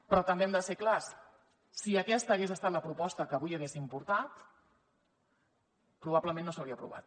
però també hem de ser clars si aquesta hagués estat la proposta que avui haguéssim portat probablement no s’hauria aprovat